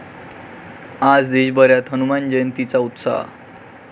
आज देशभरात हनुमान जयंतीचा उत्साह!